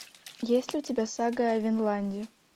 есть ли у тебя сага о винланде